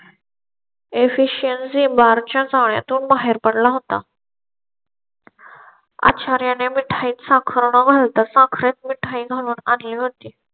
eficiency mark शाळेतून बाहेर पडला होता. अच्छा च्या मिठाईत साखर न घालता साखरेत म्हणून आणि होती.